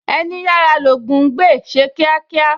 Ẹní yára l'Ògún ń gbè, ṣe kíákíá!